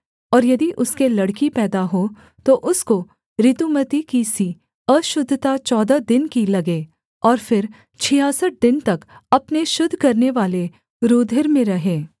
और यदि उसके लड़की पैदा हो तो उसको ऋतुमती की सी अशुद्धता चौदह दिन की लगे और फिर छियासठ दिन तक अपने शुद्ध करनेवाले रूधिर में रहे